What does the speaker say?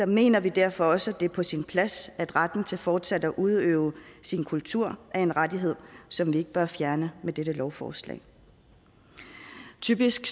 mener vi derfor også det er på sin plads at retten til fortsat at udøve sin kultur er en rettighed som vi ikke bør fjerne med dette lovforslag typisk